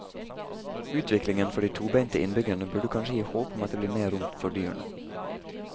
Utviklingen for de tobente innbyggerne burde kanskje gi håp om at det blir mer rom for dyrene.